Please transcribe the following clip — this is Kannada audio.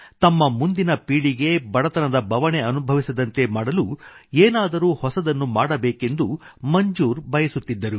ತಮ್ಮ ಮುಂದಿನ ಪೀಳಿಗೆ ಬಡತನದ ಬವಣೆ ಅನುಭವಿಸದಂತೆ ಮಾಡಲು ಏನಾದರೂ ಹೊಸದನ್ನು ಮಾಡಬೇಕೆಂದು ಮಂಜೂರ್ ಬಯಸುತ್ತಿದ್ದರು